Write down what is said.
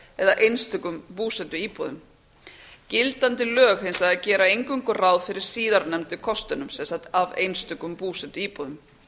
eða einstökum búsetuíbúðum gildandi lög gera hins vegar eingöngu ráð fyrir síðarnefndu kostunum sem sagt af einstökum búsetuíbúðum